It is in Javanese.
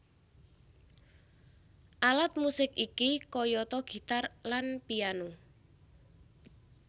Alat musik iki kayata gitar lan piano